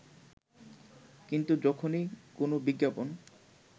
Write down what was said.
কিন্তু যখনই কোনও বিজ্ঞাপন